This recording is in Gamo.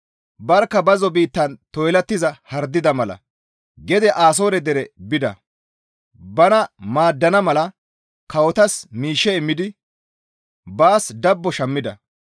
Barkka bazzo biittan toylattiza hardida mala gede Asoore dere bida. Bana maaddana mala kawotas miishshe immidi baas dabbo shammida.